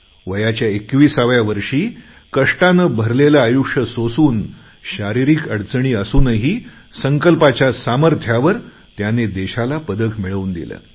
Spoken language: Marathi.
वयाच्या एकविसाव्या वर्षी कष्टप्रद आयुष्य सोसून शारीरिक अडचणी असूनही संकल्पाच्या सामर्थ्यावर त्याने देशाला पदक मिळवून दिलं